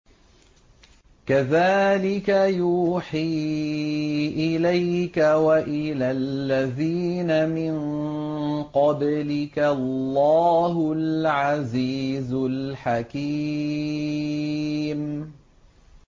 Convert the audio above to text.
كَذَٰلِكَ يُوحِي إِلَيْكَ وَإِلَى الَّذِينَ مِن قَبْلِكَ اللَّهُ الْعَزِيزُ الْحَكِيمُ